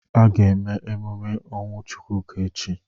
A ga-eme emume ọnwụ Chukwuka echi.